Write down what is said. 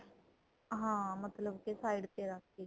ਹਾਂ ਮਤਲਬ ਕੀ side ਤੇ ਰੱਖਕੇ